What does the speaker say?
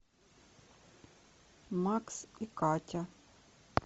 макс и катя